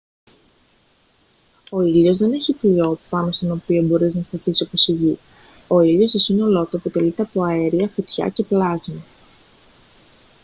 ο ήλιος δεν έχει φλοιό πάνω στον οποίο μπορείς να σταθείς όπως η γη ο ήλιος στο σύνολό του αποτελείται από αέρια φωτιά και πλάσμα